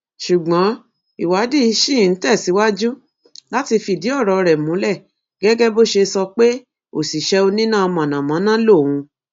ṣùgbọn ìwádìí ṣì ń tẹsíwájú láti fìdí ọrọ rẹ múlẹ gẹgẹ bó ṣe sọ pé òṣìṣẹ oníná mọnàmọná lòun